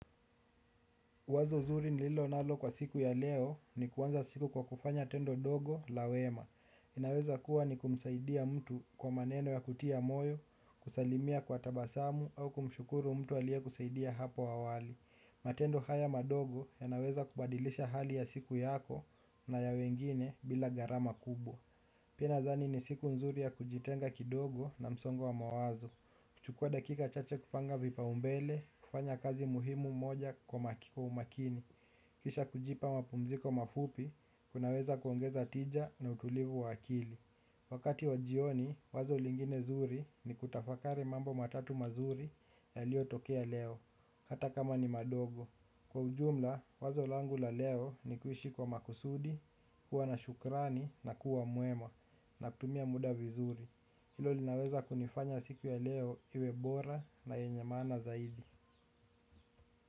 Wazo zuri nililo nalo kwa siku ya leo ni kuanza siku kwa kufanya tendo dogo la wema. Inaweza kuwa ni kumsaidia mtu kwa maneno ya kutia moyo, kusalimia kwa tabasamu au kumshukuru mtu aliye kusaidia hapo awali. Matendo haya madogo yanaweza kubadilisha hali ya siku yako na ya wengine bila gharama kubwa. Pia nadhani ni siku nzuri ya kujitenga kidogo na msongo wa mawazo. Kuchukua dakika chache kupanga vipa umbele, kufanya kazi muhimu moja kwa umakini, kisha kujipa mapumziko mafupi, kunaweza kuongeza tija na utulivu wakili. Wakati wa jioni, wazo lingine zuri ni kutafakari mambo matatu ma zuri yaliyo tokea leo, hata kama ni madogo. Kwa ujumla, wazo langu la leo ni kuishi kwa makusudi, kuwa na shukrani na kuwa mwema na kutumia muda vizuri. Hilo linaweza kunifanya siku ya leo iwe bora na yenye maana zaidi.